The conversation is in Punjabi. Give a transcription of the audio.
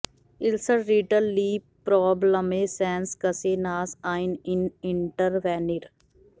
ਇਲਸਟ ਰੀਟਲ ਲੀ problem sense case nurse ion in intervener